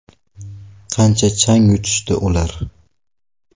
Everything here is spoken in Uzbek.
Qancha chang yutishdi ular?!